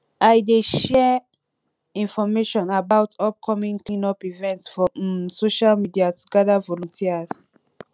i dey share information about upcoming cleanup events for um social media to gather volunteers